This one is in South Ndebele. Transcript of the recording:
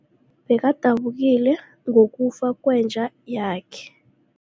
Bekadabukile ngokufa kwenja yakhe.